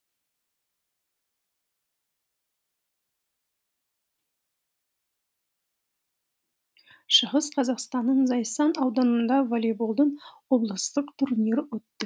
шығыс қазақстанның зайсан ауданында волейболдан облыстық турнир өтті